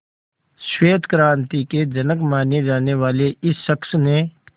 श्वेत क्रांति के जनक माने जाने वाले इस शख्स ने